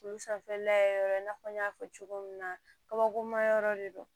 Olu sanfɛ la yɔrɔ i n'a fɔ n y'a fɔ cogo min na kabakuru mayɔrɔ de don